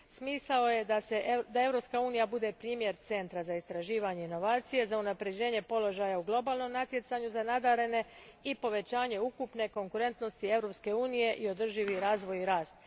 Smisao je da Europska unija bude primjer centra za istraživanje i inovacije, za unapređenje položaja u globalnom natjecanju za nadarene i povećanje ukupne konkurentnosti Europske unije i održivi razvoj i rast.